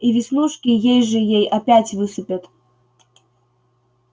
и веснушки ей-же-ей опять высыпят